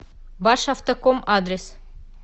башавтоком адрес